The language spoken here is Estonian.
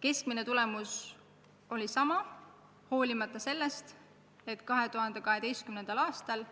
Keskmine tulemus oli sama, hoolimata sellest, et 2012. aastal